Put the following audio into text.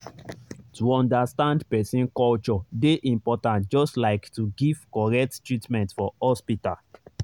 to understand person culture dey important just like to give correct treatment for hospital.